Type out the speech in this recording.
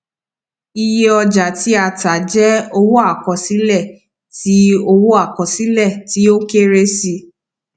iye ọjà tí a tà jẹ owó àkọsílẹ tí owó àkọsílẹ tí ó kéré sí i